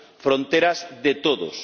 Fronteras de todos.